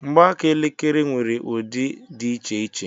Mgbaaka elekere nwere ụdị dị iche iche.